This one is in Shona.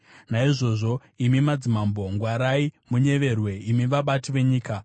Naizvozvo, imi madzimambo, ngwarai; munyeverwe, imi vabati venyika.